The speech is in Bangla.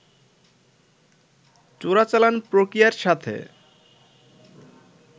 চোরাচালান প্রক্রিয়ার সাথে